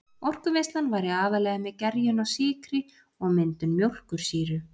Orkuvinnslan væri aðallega með gerjun á sykri og myndun mjólkursýru.